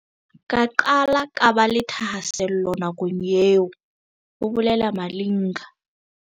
"Ka qala ka ba le thahasello nakong eo," ho bolela Malinga.